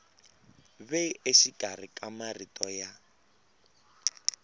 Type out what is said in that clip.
ve exikarhi ka marito ya